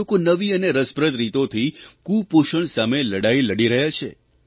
લોકો નવી અને રસપ્રદ રીતોથી કૂપોષણ સામે લડાઇ લડી રહ્યા છે